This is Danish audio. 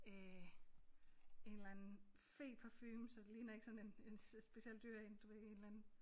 Øh en eller anden feparfume så det ligner ikke sådan en en specielt dyr en du ved en eller anden